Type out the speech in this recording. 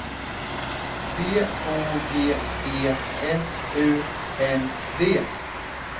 B O G E S U N D